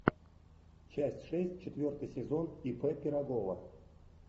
часть шесть четвертый сезон ип пирогова